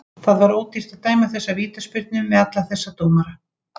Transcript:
Það var ódýrt að dæma þessa vítaspyrnu með alla þessa dómara.